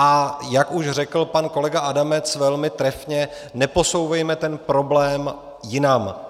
A jak už řekl pan kolega Adamec velmi trefně, neposouvejme ten problém jinam.